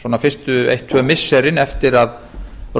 svona fyrstu eitt tvö missirin eftir að